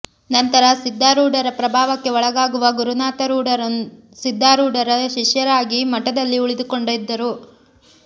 ನಂತರ ಸಿದ್ಧಾರೂಢರ ಪ್ರಭಾವಕ್ಕೆ ಒಳಗಾಗುವ ಗುರುನಾಥರೂಢರು ಸಿದ್ಧಾರೂಢರ ಶಿಷ್ಯರಾಗಿ ಮಠದಲ್ಲಿ ಉಳಿದುಕೊಂಡಿದ್ದರು